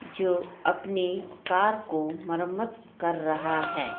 जो अपनी कार को मरम्मत कर रहा है।